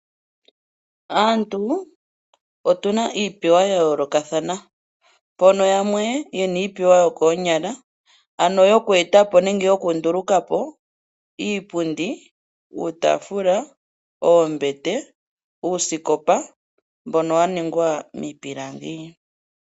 Aantu otuna iipewa yayoloka thana pono yamwe yena iipewa yokonyala ano yokwetapo nenge yokundulukapo iipundi, iitafula, Oombete, uusikopa mbono waningwa mipilangi.